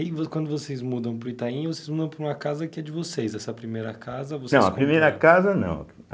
E aí, quando vocês mudam para o Itaim, vocês mudam para uma casa que é de vocês, essa primeira casa vocês... Não, a primeira casa não.